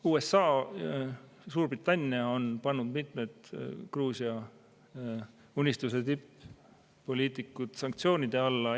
USA ja Suurbritannia on pannud mitmed Gruusia Unistuse tipp-poliitikud sanktsioonide alla.